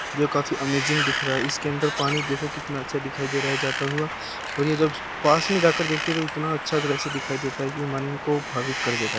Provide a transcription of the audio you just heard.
जो काफी अमेजिंग दिख रहा है | इसके अंदर पानी देखो कितना अच्छा दिखाई दे रहा है जाता हुआ और ये जब पास में जा कर देखते हैं तो इतना अच्छा द्रश्य दिखाई देता है कि मन को भावित कर देता है ।